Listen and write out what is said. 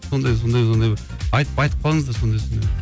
сондай сондай сондай бір айтып айтып қалыңыздар сондай сондай